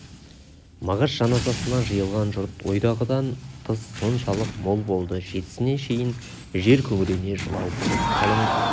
мағаш жаназасына жиылған жұрт ойдағыдан тыс соншалық мол болды жетісіне шейін жер күңірене жылау болып қалың